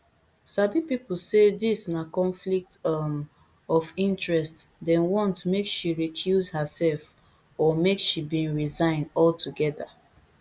sabi pipo say dis na conflict um of interest dem want make she recuse herserf or make she bin resign altogether